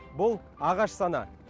бұл ағаш саны